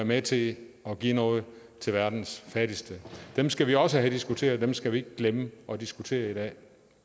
med til at give noget til verdens fattigste dem skal vi også have diskuteret dem skal vi ikke glemme at diskutere i dag